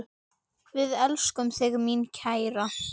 Við elskum þig, mín kæra.